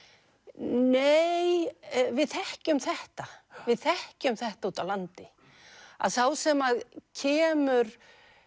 nei við þekkjum þetta við þekkjum þetta úti á landi að sá sem kemur